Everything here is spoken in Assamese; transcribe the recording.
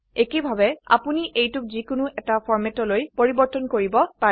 একেইভাবে আপোনি এইটোক যিকোনো এটি ফৰ্মেতলৈ পৰিবৰ্তন কৰিব পাৰে